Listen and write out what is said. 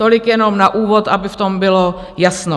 Tolik jenom na úvod, aby v tom bylo jasno.